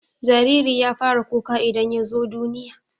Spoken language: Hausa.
jariri ya fara kuka idan yazo duniya